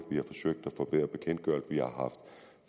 vi har